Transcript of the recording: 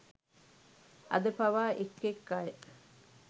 අද පවා එක් එක් අය